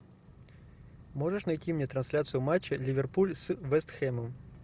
можешь найти мне трансляцию матча ливерпуль с вест хэмом